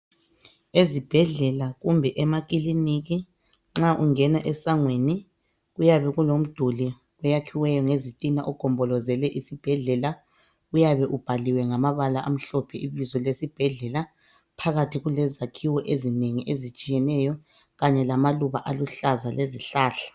Ezibhedlela kumbe emakilinika nxa ungena esangweni kuyabe kulomduli oyakhiweyo ngezitina ogombolozele isibhedlela. Uyabe ubhaliwe ngamabala amhlophe ibizo lesibhedlela. Phakathi kulezakhiwo ezinengi ezitshiyeneyo kanye lamaluba lezihlahla.